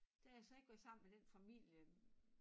Da jeg så ik var sammen med den familie